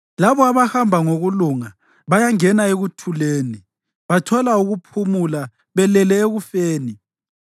Labo abahamba ngokulunga bayangena ekuthuleni; bathola ukuphumula belele ekufeni.